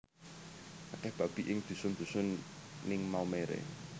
Akeh babi ing dusun dusun ning Maumere